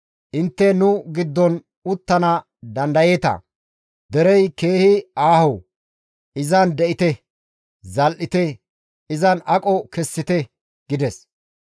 Intte nu giddon uttana dandayeeta; derey keehi aaho; izan de7ite; zal7ite; izan aqo kessite» gides.